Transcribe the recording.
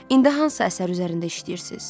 İndi hansı əsər üzərində işləyirsiz?